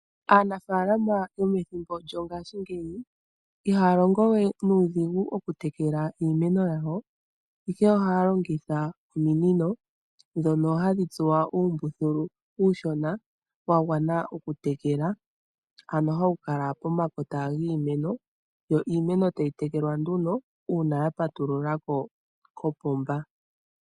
Aanafaalama yomethimbo lyongaashi ngeyi, iha ya longo we nuudhigu oku tekela iimeno ya wo. Ihe ooha ya longitha ominino, dhono ha dhi tsuwa uumbuthulu uushona wa gwana o ku tekela , ano ha wu kala pomakota giimeno, yo iimeno ta yi tekelwa nduno uuna ya patulula ko kopomba.